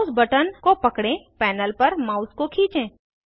mouse button को पकड़ें panel पर माउस को खींचें